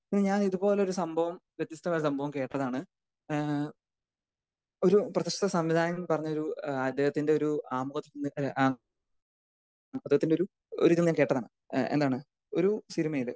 ഇനി ഞാൻ ഇത് പോലൊരു സംഭവം വ്യത്യസ്തമായ സംഭവം കേട്ടതാണ്. ഏഹ് ഒരു പ്രശസ്ത സംവിധായകൻ പറഞ്ഞൊരു ഏഹ് അദ്ദേഹത്തിന്റെ ഒരു ആഹ് ആമുഖചലച്ചിത്രം ഏഹ് അദ്ദേഹത്തിന്റെ ഒരു ഒരു മുഖചലച്ചിത്രം എന്താണ് ഒരു സിനിമയിൽ.